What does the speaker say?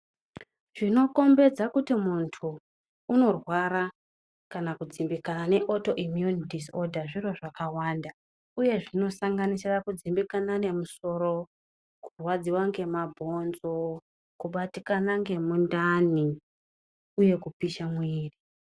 Zvinokombedza kuti mundu unorwara zviro zvakawanda zvinosanganisira kudzimbikana nemusoro kurwadziwa nemabhonzo kubatikana ndemundani uye kupisha muviri.